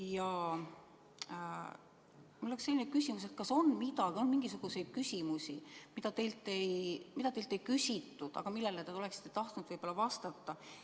Ja mul on selline küsimus: kas on küsimusi, mida teilt ei küsitud, aga millele te oleksite tahtnud vastata?